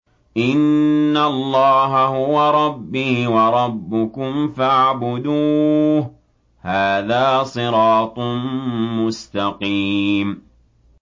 إِنَّ اللَّهَ هُوَ رَبِّي وَرَبُّكُمْ فَاعْبُدُوهُ ۚ هَٰذَا صِرَاطٌ مُّسْتَقِيمٌ